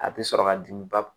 A bɛ sɔrɔ ka dimi ba